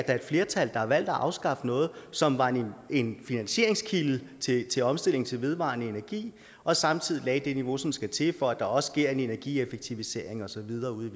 er et flertal der har valgt at afskaffe noget som var en en finansieringskilde til omstilling til vedvarende energi og samtidig lagde det niveau som skal til for at der også sker en energieffektivisering og så videre ude